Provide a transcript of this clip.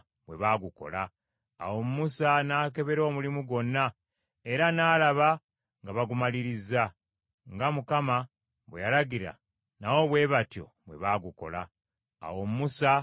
Awo Musa n’akebera omulimu gwonna, era n’alaba nga bagumalirizza. Nga Mukama bwe yalagira, nabo bwe batyo bwe baagukola. Awo Musa n’abasabira omukisa.